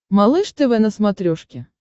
малыш тв на смотрешке